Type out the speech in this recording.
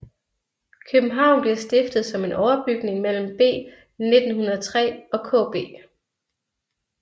København bliver stiftet som en overbygning mellem B 1903 og KB